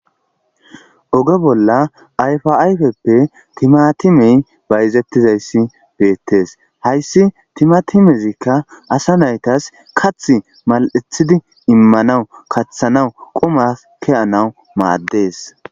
Oge bolla ayfa ayfeti timatimey bayzetiza bettes haysi timatimeza kathi mal'ethidi imana mala imanaw kathanaw mades